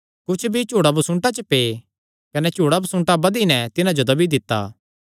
कुच्छ बीई झुड़ांबसुन्टां च पै कने झुड़ांबसुन्टां बधी नैं तिन्हां जो दब्बी दित्ता